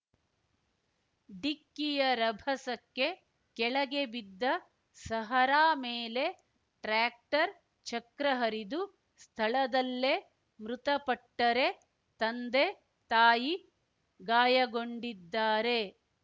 ಡಿಕ್ಕಿಯ ರಭಸಕ್ಕೆ ಕೆಳಗೆ ಬಿದ್ದ ಸಹರಾ ಮೇಲೆ ಟ್ರ್ಯಾಕ್ಟರ್ ಚಕ್ರ ಹರಿದು ಸ್ಥಳದಲ್ಲೇ ಮೃತಪಟ್ಟರೆ ತಂದೆ ತಾಯಿ ಗಾಯಗೊಂಡಿದ್ದಾರೆ